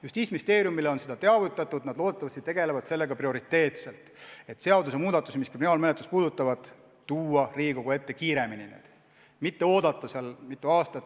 Justiitsministeeriumi on sellest teavitatud, nad loodetavasti tegelevad sellega prioriteetselt, et kriminaalmenetlusi puudutavad seadusmuudatused tuua Riigikogu ette kiiremini, mitte ei oodata mitu aastat.